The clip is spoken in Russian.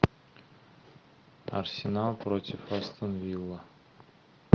арсенал против астон вилла